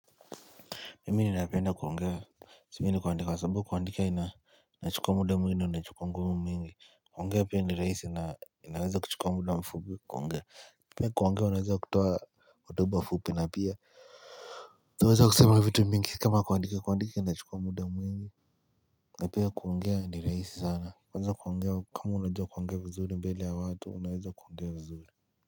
Mimi napenda kuongea, sipendi kuandika, kwa sababu kuandika ina, inachukua muda mwingi, na inachukuwa nguvu mingi. Kuongea pia ni rahisi na, inaweza kuchukua muda mfupi kuongea. Mweni kuungia wanawezo kutua waduba fupi na pia. Wanawezo kusema vitu mingi, kama kuungia kundika, kuungia nachikomu da mweni. Napea kuongea ni rahisi sana. Wanawezo kuungia, kama wanawezo kuungia wuzuli mbeli awatu, wanawezo kuungia wuzuli.